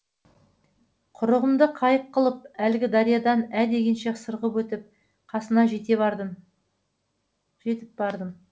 құрығымды қайық қылып әлгі дариядан ә дегенше сырғып өтіп қасына жетіп бардым